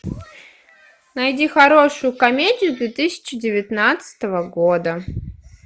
найди хорошую комедию две тысячи девятнадцатого года